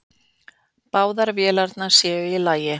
Báðar vélarnar séu í lagi.